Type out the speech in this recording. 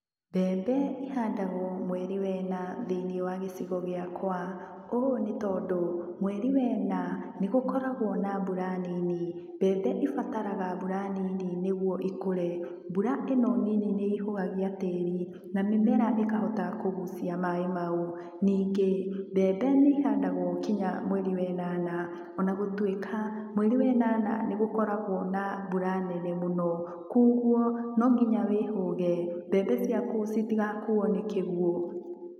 Mbembe ihandagwo mweri wena thĩiniĩ wagĩcigo gĩakwa, ũũ nĩ tondũ mweri wena nĩ gũkoragwo na mbura nini, mbembe ibataraga mbura nini nĩguo ikũre. Mbura ĩno nini nĩ ihũgagia tĩĩri na mĩmera ĩkahota kũgucia maĩ mau ningĩ mbembe nĩ ĩhandagwo nginya mweri wenana, o na gũtuĩka mweri wenana nĩgũkoragwo na mbura nene mũno kogwo no nginya wĩhũge mbembe ciaku citigakuo nĩ kĩguo.